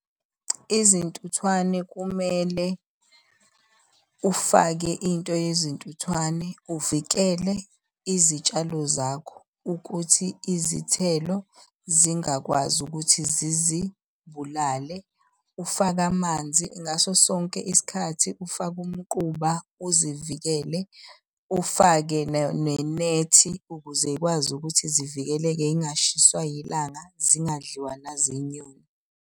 Izintuthwane kumele ufake into yezintuthwane uvikele izitshalo zakho ukuthi izithelo zingakwazi ukuthi zizibulale. Ufake amanzi ngaso sonke isikhathi ufake umquba uzivikele. Ufake nenethi ukuze iy'kwazi ukuthi zivikeleke iy'ngashiswa yilanga zingadliwa zinyoni.